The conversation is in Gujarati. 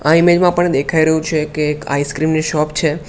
આ ઇમેજ માં પણ દેખાય રહ્યું છે કે એક આઈસક્રીમ ની શોપ છે.